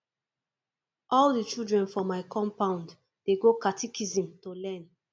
all di children for my compound dey go catechism to learn